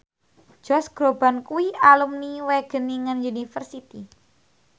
Josh Groban kuwi alumni Wageningen University